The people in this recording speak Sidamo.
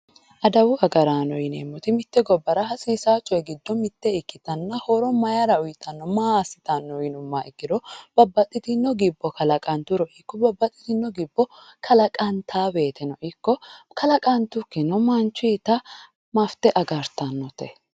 adawu agaraano yineemoti mitte gabbara hasiisayo coyi gido ikkitanna horo mayiira uuyiitanno maa asitanno yinimoha ikkiro babaxitinno gibbo kalaqanturo ikkiro babaxitinno gibbo kalaqantawoyiteno ikko kalaqanttukino